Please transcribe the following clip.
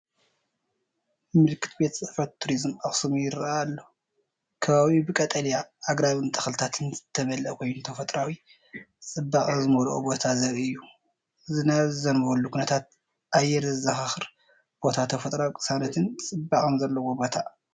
ምልክት ቤት ፅሕፈት ቱሪዝም ኣኽሱም ይረአ ኣሎ። ከባቢኡ ብቀጠልያ ኣግራብን ተኽልታትን ዝተመልአ ኮይኑ ተፈጥሮኣዊ ጽባቐ ዝመልኦ ቦታ ዘርኢ እዩ። ዝናብ ዝዘንበሉ ኩነታት ኣየር ዘዘኻኽር ቦታ፡ ተፈጥሮኣዊ ቅሳነትን ጽባቐን ዘለዎ ቦታ።